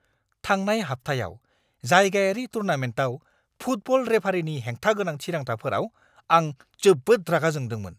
थांनाय हाबथायाव जायगायारि टुर्नामेन्टआव फुटबल रेफारीनि हेंथा गोनां थिरांथाफोराव आं जोबोद रागा जोंदोंमोन।